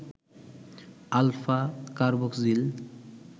alpha carboxyl